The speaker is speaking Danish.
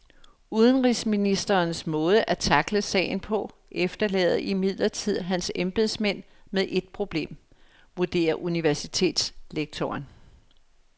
Udenrigsministerens måde at tackle sagen på efterlader imidlertid hans embedsmænd med et problem, vurderer universitetslektoren.